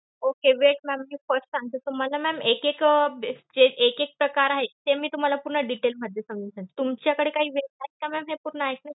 Okey, wait ma'am. मी first सांगते. तुम्हाला एक एक अं जे एक एक प्रकार आहेत, ते मी तुम्हाला पूर्ण detail मध्ये सांगते. तुमच्याकडे काही वेळ आहे का ma'am हे पूर्ण ऐकण्यासाठी?